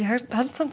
held